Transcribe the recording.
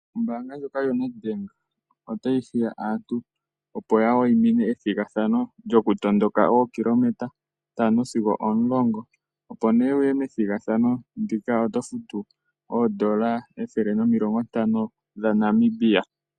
Ombaanga ndjoka yoNedbank otayi hiya aantu opo ya waimine ethigathano lyokutondoka ookilometa ntano sigo omulongo. Opo wu kuthe ombinga methigathano ndika owu na okufuta oondola ethele nomilongo ntano dhaNamibia.